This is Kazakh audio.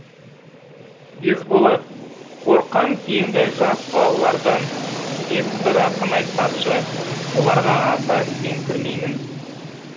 есболат қорқам кейінгі жас балалардан деп бір ақын айтпақшы бұларға аса сеніңкірмеймін